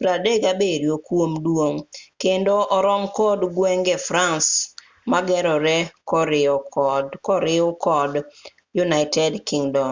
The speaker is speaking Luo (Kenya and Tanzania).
37 kuom duong' kendo orom kod gwenge france mogeroree koriu kod united kingdom